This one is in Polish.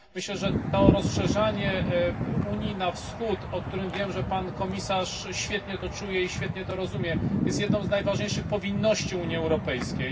Myślę, że to rozszerzanie Unii na wschód o którym wiem, że pan komisarz świetnie to czuje i świetnie to rozumie jest jedną z najważniejszych powinności Unii Europejskiej.